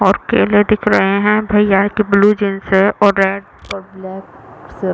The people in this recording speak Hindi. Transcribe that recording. और केले दिख रहे है भैया के ब्लू जीन्स है और रेड और ब्लैक --